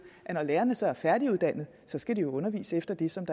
at når lærerne så er færdiguddannede skal de jo undervise efter det som